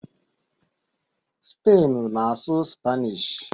Spainu na-asụ Spanishu